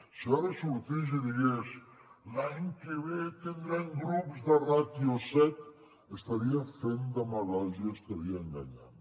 si jo ara sortís i digués l’any que ve tindrem grups de ràtio set estaria fent demagògia estaria enganyant